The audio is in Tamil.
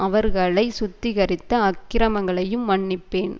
அவர்களை சுத்திகரித்து அக்கிரமங்களையும் மன்னிப்பேன்